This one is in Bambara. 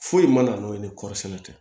Foyi ma na n'o ye ni kɔɔri sɛnɛ tɛ